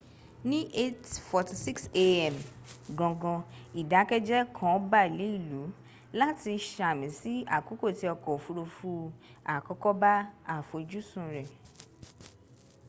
ni 8:46 a.m. gangan idakeje kan ba le ilu lati sami si akoko ti ọkọ ofurufu akọkọ ba afojusun rẹ